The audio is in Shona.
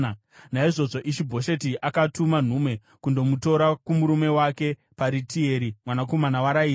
Naizvozvo Ishi-Bhosheti akatuma nhume kundomutora kumurume wake Paritieri mwanakomana waRaishi.